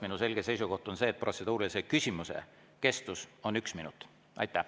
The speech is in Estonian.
Minu selge seisukoht on see, et protseduurilise küsimuse kestus on üks minut.